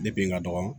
Depi n ka dɔgɔ